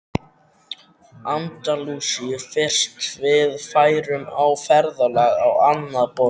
Andalúsíu fyrst við værum á ferðalagi á annað borð.